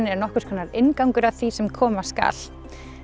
er nokkurs konar inngangur að því sem koma skal